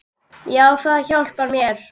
Já, það hjálpar mér.